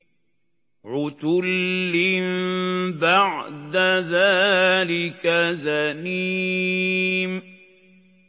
عُتُلٍّ بَعْدَ ذَٰلِكَ زَنِيمٍ